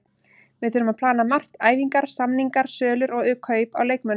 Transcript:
Við þurfum að plana margt, æfingar, samningar, sölur og kaup á leikmönnum.